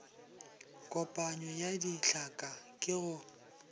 kopanyo ya ditlhaka ke go